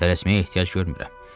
Tələsməyə ehtiyac görmürəm.